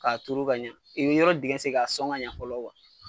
Ka turu ka ɲɛ, i bi yɔrɔ dingɛ sen ka sɔn ka ɲɛ fɔlɔ